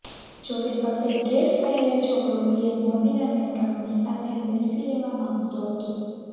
જોકે સફેદ ડ્રેસ પહેરેલ છોકરો પીએમ મોદી અને ટ્રમ્પની સાથે સેલ્ફી લેવા માંગતો હતો